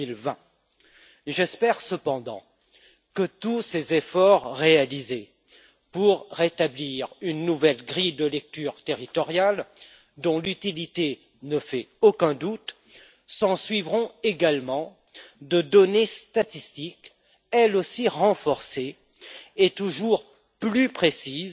2020. J'espère cependant que tous ces efforts réalisés pour établir une nouvelle grille de lecture territoriale, dont l'utilité ne fait aucun doute, seront également accompagnés de données statistiques, elles aussi renforcées et toujours plus précises,